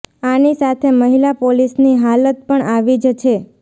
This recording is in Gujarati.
આની સાથે મહિલા પોલીસની હાલત પણ આવી જ છે